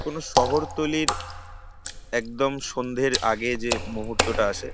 কোন শহরতলীর একদম সন্ধের আগে যে মুহূর্তটা আসে।